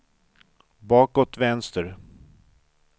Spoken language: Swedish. bakåt vänster